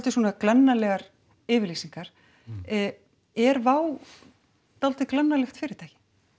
svona glannalegar yfirlýsingar er Wow dálítið glannalegt fyrirtæki